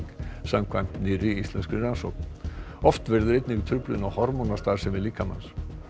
samkvæmt nýrri íslenskri rannsókn oft verður einnig truflun á hormónastarfsemi líkamans